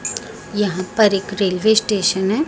यहाँ पर एक रेलवे स्टेशन हैं।